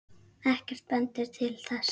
Ekkert bendir til þess.